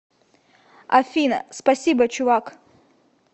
афина спасибо чувак